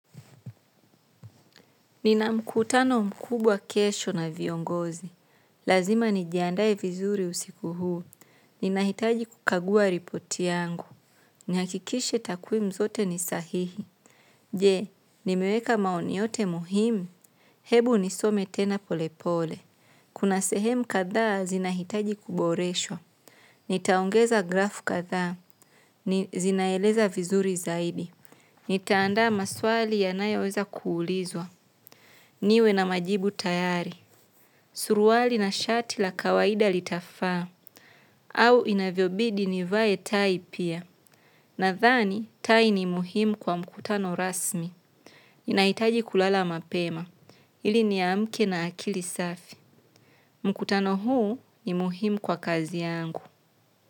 Nina mkutano mkubwa kesho na viongozi lazima nijiandae vizuri usiku huu nina hitaji kukagua ripoti yangu. Ni hakikishe takwimu zote ni sahihi. Je, nimeweka maoni yote muhimu. Hebu nisome tena pole pole. Kuna sehemu kadhaa zinahitaji kuboreshwa. Nitaongeza grafu kadhaa. Zinaeleza vizuri zaidi. Nita andaa maswali yanayoweza kuulizwa. Niwe na majibu tayari, suruali na shati la kawaida litafaa au inavyobidi nivae tai pia. Nadhani tai ni muhimu kwa mkutano rasmi. Nahitaji kulala mapema ili niamke na akili safi. Mkutano huu ni muhimu kwa kazi yangu.